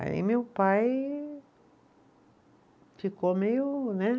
Aí meu pai ficou meio, né?